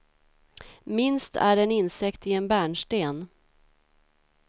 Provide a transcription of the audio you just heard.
Minst är en insekt i en bärnsten.